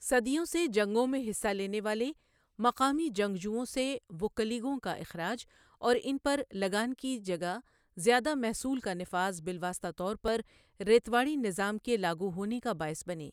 صدیوں سے جنگوں میں حصہ لینے والے مقامی جنگجوؤں سے ووکّلیگوں کا اخراج اور ان پر لگان کی جگہ زیادہ محصول کا نفاذ بالواسطہ طور پر ریتواڑی نظام کے لاگو ہونے کا باعث بنے۔